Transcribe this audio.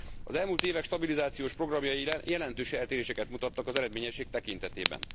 Az elmúlt évek stabilizációs programjai jelentős eltéréseket mutattak az eredményesség tekintetében.